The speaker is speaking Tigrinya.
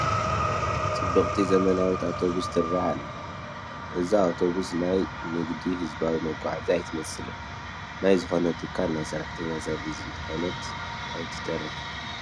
ፅብቕቲ ዘመናዊት ኣውቶብስ ትርአ ኣላ፡፡ እዛ ኣውቶቡስ ናይ ንግዲ ህዝባዊ መጓዓዓዚ ኣይትመስልን፡፡ ናይ ዝኾነ ትካል ናይ ሰራሕተኛ ሰርቪስ እንተይኮነት ኣይትተርፍን፡፡